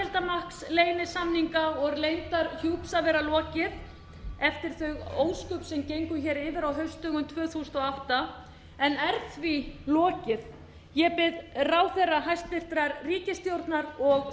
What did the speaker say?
og leyndarhjúps að vera lokið eftir þau ósköp sem gengu hér yfir á haustdögum tvö þúsund og átta en er því lokið ég bið ráðherra hæstvirtrar ríkisstjórnar og stjórnarþingmenn að íhuga þessi